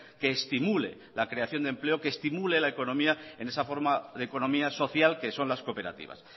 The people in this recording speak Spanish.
que estimule la creación de empleo que estimule la economía en esa forma de economía social que son las cooperativas